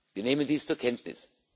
Wir nehmen dies zur Kenntnis.